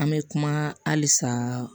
An bɛ kuma halisa